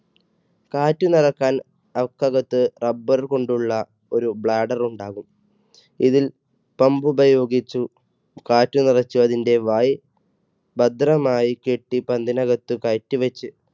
കാറ്റ് നിറയ്ക്കാൻ അതിനകത്ത് rubber കൊണ്ട് ഉള്ള ഒരു blader ഉണ്ടാകും ഇതിൽ pump ഉപയോഗിച്ച് കാറ്റ് നിറച്ച് അതിൻറെ വായ് ഭദ്രമായി കെട്ടി പന്തിനകത്ത് കയറ്റിവെച്ച്